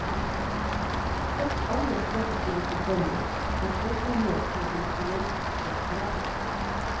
Et annet trekk de har til felles, er forkjærligheten til instrumentet piano.